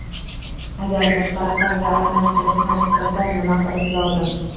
Agar boshqa raqamga almashtirishni istasa, nima qilish lozim?